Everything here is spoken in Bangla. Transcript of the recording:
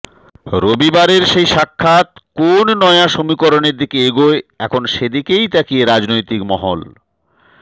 রবিবারের সেই সাক্ষাৎ কোন নয়া সমীকরণের দিকে এগোয় এখন সেদিকেই তাকিয়ে রাজনৈতিক মহল